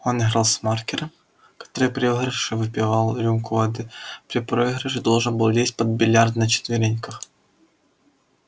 он играл с маркером который при выигрыше выпивал рюмку водки а при проигрыше должен был лезть под биллиард на четверинках